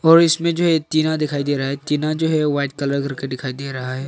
और इसमें जो है टीना दिखाई दे रहा है टीना जो है वाइट कलर कर के दिखाई दे रहा है।